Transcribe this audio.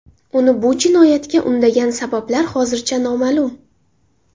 Uni bu jinoyatga undagan sabablar hozircha noma’lum.